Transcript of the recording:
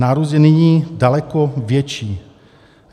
Nárůst je nyní daleko větší.